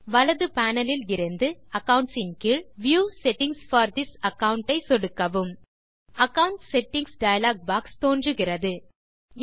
வலது panelஇலிருந்து அக்கவுண்ட்ஸ் கீழ் view settings for this account ஐ சொடுக்கவும் அகாவுண்ட் செட்டிங்ஸ் டயலாக் பாக்ஸ் தோன்றுகிறது